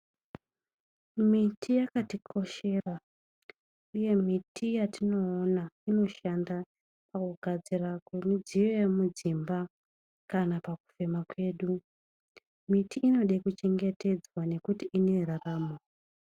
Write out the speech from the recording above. Miti yakatikoshera uye miti yatinoona inoshanda pakugadzira midziyo yemudzimba kana pakufema kwedu. Miti inoda kuchengetedzwa nekuti ineraramo.